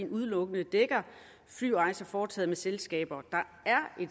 udelukkende dækker flyrejser foretaget med selskaber der